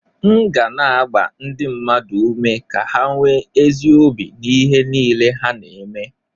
M ga na-agba ndị mmadụ ume ka ha nwee ezi obi n'ihe niile ha na-eme